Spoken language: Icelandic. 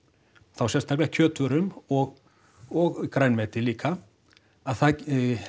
þá sérstaklega kjötvörum og og grænmeti líka að það